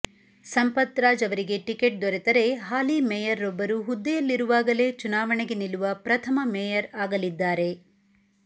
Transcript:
ಸಂಪತ್ರಾಜ್ ಅವರಿಗೆ ಟಿಕೆಟ್ ದೊರೆತರೆ ಹಾಲಿ ಮೇಯರ್ರೊಬ್ಬರು ಹುದ್ದೆಯಲ್ಲಿರುವಾಗಲೇ ಚುನಾವಣೆಗೆ ನಿಲ್ಲುವ ಪ್ರಥಮ ಮೇಯರ್ ಆಗಲಿದ್ದಾರೆ